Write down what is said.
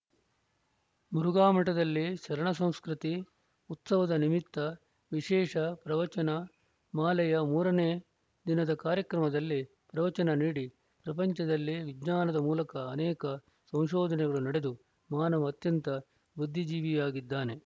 ಮುರುಘಾಮಠದಲ್ಲಿ ಶರಣಸಂಸ್ಕೃತಿ ಉತ್ಸವದ ನಿಮಿತ್ತ ವಿಶೇಷ ಪ್ರವಚನ ಮಾಲೆಯ ಮೂರನೇ ದಿನದ ಕಾರ‍್ಯಕ್ರಮದಲ್ಲಿ ಪ್ರವಚನ ನೀಡಿ ಪ್ರಪಂಚದಲ್ಲಿ ವಿಜ್ಞಾನದ ಮೂಲಕ ಅನೇಕ ಸಂಶೋಧನೆಗಳು ನಡೆದು ಮಾನವ ಅತ್ಯಂತ ಬುದ್ದಿಜೀವಿಯಾಗಿದ್ದಾನೆ